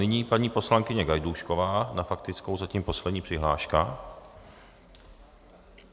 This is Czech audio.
Nyní paní poslankyně Gajdůšková na faktickou, zatím poslední přihláška.